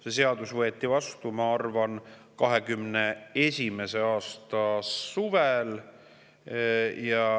See seadus võeti vastu, ma arvan, 2021. aasta suvel.